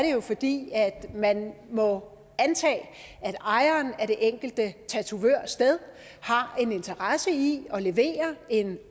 jo fordi man må antage at ejeren af det enkelte tatovørsted har en interesse i at levere en